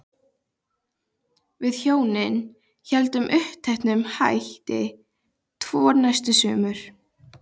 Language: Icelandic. Við hjónin héldum uppteknum hætti tvö næstu sumur.